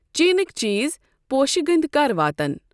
چیٖٚنٕکؠ چیٖز، پوشہٕ گٔنٛدؠ کَر واتَن؟